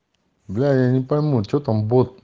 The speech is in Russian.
бля я не пойму что там бот